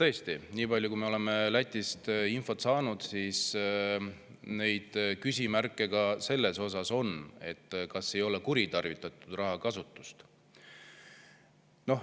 Tõesti, niipalju, kui me oleme Lätist infot saanud, küsimärke ka selles osas on, kas ei ole rahakasutust kuritarvitatud.